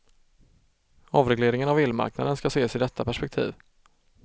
Avregleringen av elmarknaden skall ses i detta perspektiv.